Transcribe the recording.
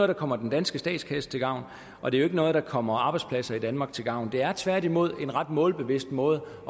der kommer den danske statskasse til gavn og det er ikke noget der kommer arbejdspladser i danmark til gavn det er tværtimod en ret målbevidst måde